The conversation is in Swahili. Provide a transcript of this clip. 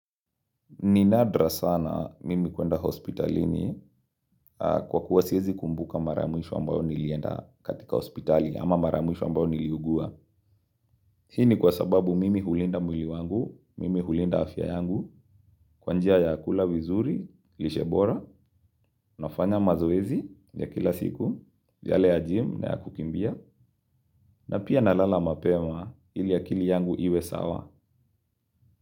Ninadra sana mimi kwenda hospitalini kwa kuwasiezi kumbuka mara ya mwisho ambayo nilienda katika hospitali ama mara ya mwisho ambayo niliugua. Hini kwa sababu mimi hulinda mwili wangu, mimi hulinda afya yangu, kwanjia ya kula wizuri, lishebora, nafanya mazoezi ya kila siku, yale ya gym na ya kukimbia, na pia na lala mapema ili akili yangu iwe sawa.